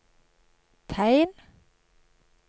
tegn